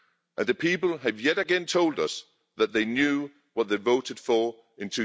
And the people have yet again told us that they knew what they voted for in